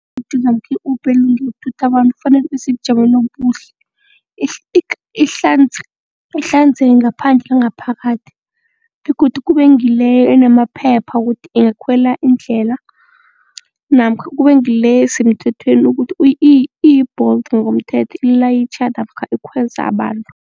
namkha i-Uber engoyokuthutha abantu kufanele ibe sebujameni obuhle ihlanzeke ngaphandle nangaphakathi begodu kube ngileyo enamaphepha wokuthi ingakhwela indlela namkha kube ngile esemthethweni ukuthi iyi-Bolt ngomthetho ilayitjha namkha ikhweza abantu.